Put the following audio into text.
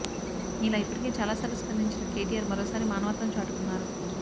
ఇలా ఇప్పటికే చాలాసార్లు స్పందించిన కేటీిఆర్ మరోసారి మాన వత్వం చాటుకున్నారు